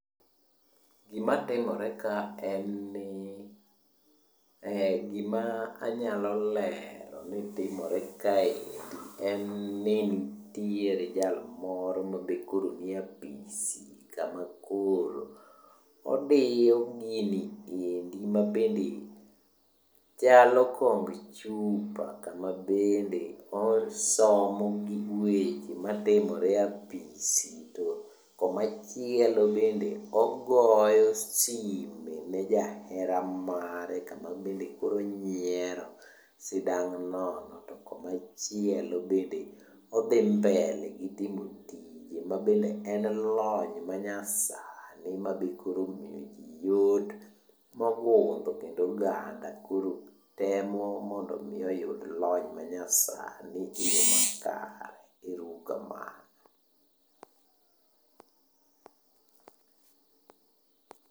Gimanenore ka en ni ,gimanyalo lero ni timore kaendi en ni nitiere jal moro ma be makoro nie apis kama koro odiyo gini endi mabende chalo kongchupa kama bende osomo gik weche matimre e apisi to komachielo bende ogoyo sime ne jahera mare kama bende onyiero sidang' nono to komachielo bende odhi mbele]cs] gitimo tije mabende en lony manyasani mabe koro omiyo ji yot mogudho kendo oganda koro temo mondo omi oyud lony manyasani kendo makare. Ero uru kamano.